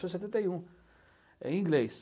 Começou em setenta e um, em inglês.